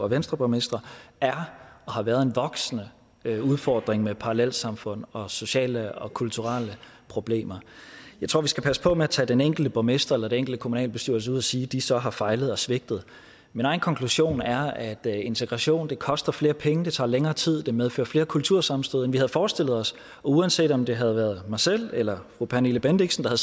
venstreborgmestre er og har været en voksende udfordring med parallelsamfund og sociale og kulturelle problemer jeg tror vi skal passe på med at tage den enkelte borgmester eller den enkelte kommunalbestyrelse ud og sige at de så har fejlet og svigtet min egen konklusion er at integration koster flere penge det tager længere tid det medfører flere kultursammenstød end vi havde forestillet os og uanset om det havde været mig selv eller fru pernille bendixen der